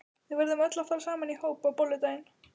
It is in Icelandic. Við verðum öll að fara saman í hóp á bolludaginn.